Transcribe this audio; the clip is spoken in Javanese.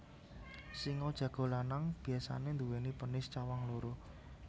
Sing jago lanang biasané nduwèni penis cawang loro